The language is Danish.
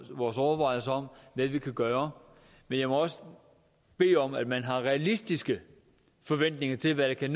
vores overvejelser om hvad vi kan gøre men jeg må også bede om at man har realistiske forventninger til hvad der kan